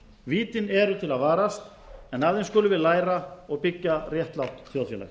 vítin eru til að varast en af þeim skulum við læra og byggja réttlátt þjóðfélag